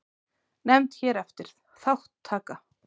Nefnd hér eftir: Þátttaka.